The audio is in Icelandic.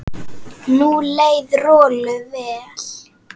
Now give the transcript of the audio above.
Nú leið Rolu vel.